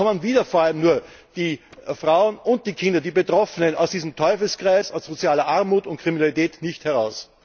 Sonst kommen wieder vor allem nur die Frauen und Kinder, die Betroffenen, aus diesem Teufelskreis aus sozialer Armut und Kriminalität nicht heraus.